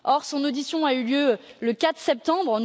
Or, son audition a eu lieu le 4 septembre.